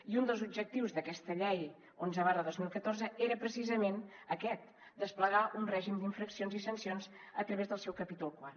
i un dels objectius d’aquesta llei onze dos mil catorze era precisament aquest desplegar un règim d’infraccions i sancions a través del seu capítol iv